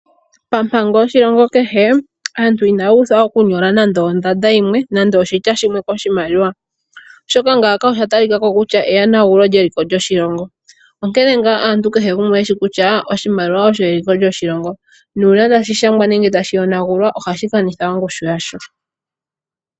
Pampango yoshilongo kehe, aantu inaya uthwa okunyola nande ondada yimwe nenge oshitya shimwe koshimaliwa. Oshoka ngaaka osha talikako kutya eyonagulo lyeliko yoshilongo. Onkene kehe gumwe okwa pumbwa okushiwa kutya, oshimaliwa osho eliko yoshilongo, nuuna tashi shangwa nenge tashi yonagulwa ohashi kanitha ongushu yasho.